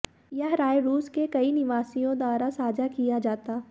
यह राय रूस के कई निवासियों द्वारा साझा किया जाता